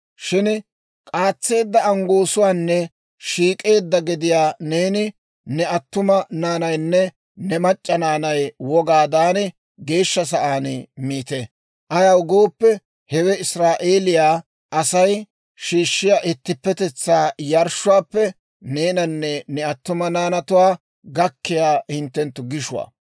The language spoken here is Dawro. Shin k'aatseedda anggoosuwaanne shiik'eedda gediyaa neeni, ne attuma naanaynne ne mac'c'a naanay wogaadan geeshsha sa'aan miite. Ayaw gooppe, hewe Israa'eeliyaa Asay shiishshiyaa ittippetetsaa yarshshuwaappe neenanne ne attuma naanatuwaa gakkiyaa hintte gishuwaa.